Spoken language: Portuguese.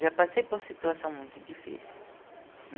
Já passei por situação muito difícil.